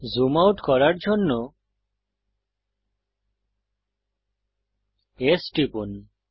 zoom out করার জন্য S টিপুন